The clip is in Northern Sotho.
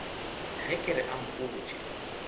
ge ke re a mpotše